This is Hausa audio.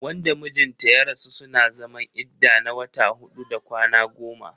Wanda mijin ta ya rasu suna zaman idda na wata huɗu da kwana goma.